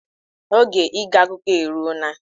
Oge ige akụkọ eruo na.